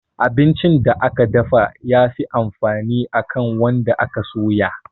Abincin da aka dafa ya fi amfani akan wanda aka soya